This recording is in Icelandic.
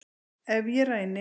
Ef ég ræni